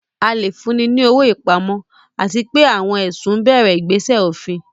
A lè fúnni ní owó ìpamọ́, àti pé àwọn ẹ̀sùn bẹ̀rẹ̀ ìgbésẹ̀ òfin.